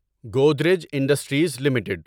Godrej industries limited